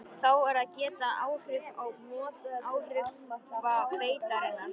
Þá er að geta áhrifa beitarinnar.